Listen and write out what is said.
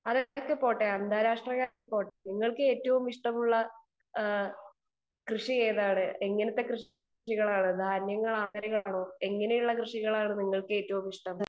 speaker 2 അതൊക്കെ പോട്ടെ അന്താരാഷ്ട്ര കാര്യം പോട്ടെ നിങ്ങൾക്ക് ഏറ്റവും ഇഷ്ടമുള്ള കൃഷി ഏതാണ് എങ്ങനത്തെ കൃഷികളാണ് ധാന്യങ്ങളാണോ എങ്ങനെയുള്ള കൃഷികളാണ് നിങ്ങൾക്ക് ഏറ്റവും ഇഷ്ടം